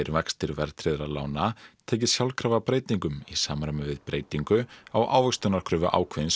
vextir verðtryggðra lána tekið sjálfkrafa breytingum í samræmi við breytingu á ávöxtunarkröfu ákveðins